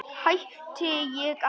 Hætti ég ekki?